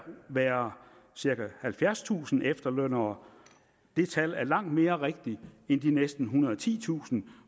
være cirka halvfjerdstusind efterlønnere det tal er langt mere rigtigt end de næsten ethundrede og titusind